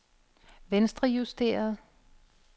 venstrejusteret